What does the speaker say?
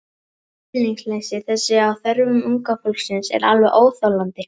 Skilningsleysi þess á þörfum unga fólksins er alveg óþolandi.